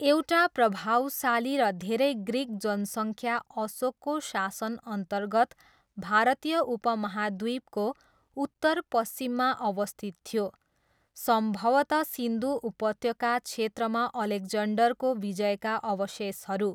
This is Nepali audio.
एउटा प्रभावशाली र धेरै ग्रिक जनसङ्ख्या अशोकको शासनअन्तर्गत भारतीय उपमहाद्वीपको उत्तरपश्चिममा अवस्थित थियो, सम्भवतः सिन्धु उपत्यका क्षेत्रमा अलेक्जन्डरको विजयका अवशेषहरू।